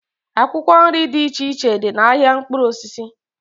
Akwụkwọ nri dị iche iche dị n'ahịa mkpụrụ osisi